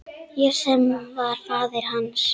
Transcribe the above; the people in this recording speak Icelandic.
Ég sem var faðir hans.